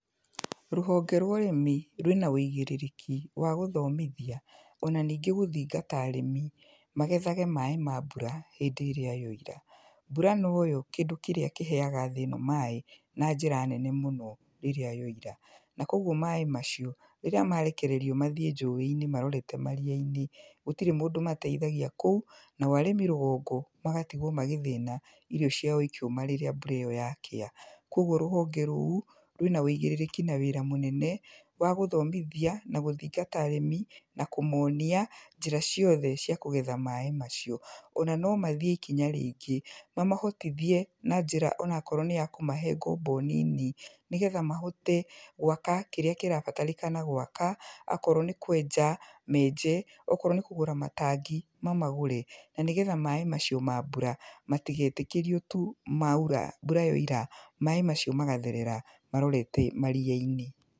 Rũhonge rwa ũrĩmi rwĩna wĩigĩrĩrĩki wa gũthomithia ona ningĩ gũthingata arĩmi magethage maĩ ma mbura hĩndĩrĩa yaira, mbura noyo kĩndũ kĩrĩa kĩheyaga thĩno maĩ na njĩra nene mũno rĩrĩa yoira, na koguo maĩ macio rĩrĩa marekererio mathiĩ njũĩ-inĩ marorete mariya-inĩ, gũtirĩ mũndũ mateithagia kũu, nao arĩmi rũgongo magatigwo magĩthina irio ciao ikĩũma rĩrĩa mbura ĩyo yakĩa, koguo rũhonge rũu rwĩna wĩigĩrĩrĩki na wĩra mũnene, wa gũthomithia, na gũthingata arĩmi, na kũmonia njĩra ciothe cia kũgetha maĩ macio, ona no mathiĩ ikinya rĩngĩ mamahotithie na njĩra onakorwo nĩya kũmahe ngombo nini, nĩgetha mahote gwaka kĩrĩa kĩrabatarĩkana gwaka, akorwo nĩ kwenja menje, okorwo nĩ kũgũra matangi mamagũre, na nĩgetha maĩ macio ma mbura matigetĩkĩrie tu maira, mbura yaira maĩ macio magatherera marorete mariya-inĩ.